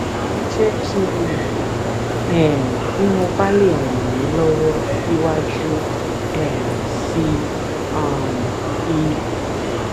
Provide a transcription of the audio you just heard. ẹ jẹ́ kí n mọ̀ um bí mo bá lè ràn yín lọ́wọ́ síwájú um sí um i